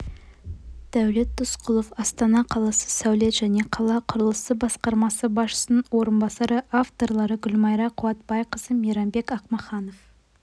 дәулет досқұлов астана қаласы сәулет және қала құрылысы басқармасы басшысының орынбасары авторлары гүлмайра қуатбайқызы мейрамбек ақмаханов